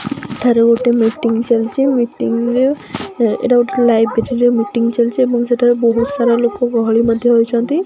ଏଠାରେ ଗୋଟେ ମିଟିଂ ଚାଲିଛି ମିଟିଂ ରେ ଅ ଏଇଟା ଗୋଟେ ଲାଇବ୍ରେରୀ ରେ ମିଟିଂ ଚାଲିଛି ଏବଂ ସେଠାରେ ବହୁତ୍ ସାରା ଲୋକ ଗହଳି ମଧ୍ୟ ହୋଇଛନ୍ତି।